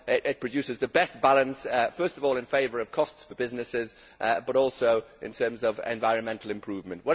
It produces the best balance, first of all, in favour of costs for businesses, but also in terms of environmental improvement.